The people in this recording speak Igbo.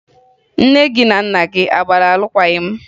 Nne gị na nna gị a gbara alụkwaghị m?